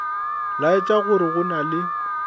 laetša gore go na le